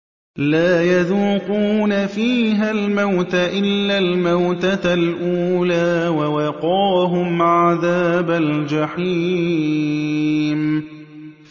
لَا يَذُوقُونَ فِيهَا الْمَوْتَ إِلَّا الْمَوْتَةَ الْأُولَىٰ ۖ وَوَقَاهُمْ عَذَابَ الْجَحِيمِ